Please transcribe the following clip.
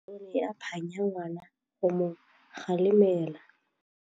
Rre o ne a phanya ngwana go mo galemela.